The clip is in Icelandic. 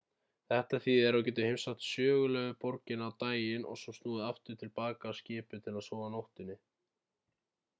þetta þýðir að þú getur heimsótt sögulegu borgina á daginn og svo snúið aftur til baka á skipið til að sofa á nóttunni